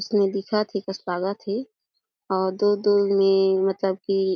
उसमे दिखत हे कस लागत हे और दूर-दूर मे मतलब की --